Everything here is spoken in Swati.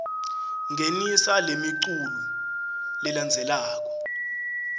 ngenisa lemiculu lelandzelako